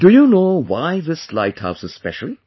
Do you know why this light house is special